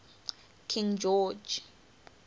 king george